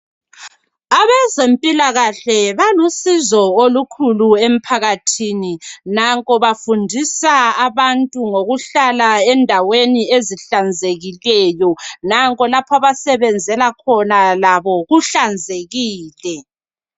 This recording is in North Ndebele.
Abezempilakahle balusizo olukhulu emphakathini. Nanko bafundisa abantu ngokuhlala endaweni ezihlanzekileyo. Nanko lapho abasebenzela khona labo kuhlanzekile.